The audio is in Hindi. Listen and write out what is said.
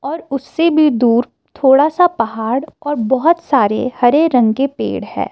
और उससे भी दूर थोड़ा सा पहाड़ और बहुत सारे हरे रंग के पेड़ है।